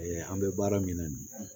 an bɛ baara min na bi